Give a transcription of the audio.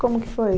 Como que foi?